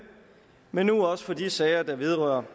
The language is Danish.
men nu også for de sager der vedrører